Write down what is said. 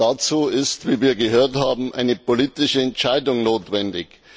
Dazu ist wie wir gehört haben eine politische Entscheidung notwendig.